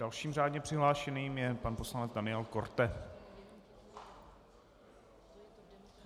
Dalším řádně přihlášeným je pan poslanec Daniel Korte.